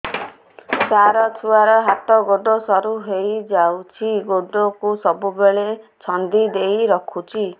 ସାର ଛୁଆର ହାତ ଗୋଡ ସରୁ ହେଇ ଯାଉଛି ଗୋଡ କୁ ସବୁବେଳେ ଛନ୍ଦିଦେଇ ରଖୁଛି